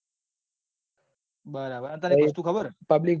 બરાબર અને તન એક વસ્તુ ખબર છે.